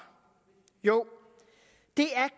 jo det er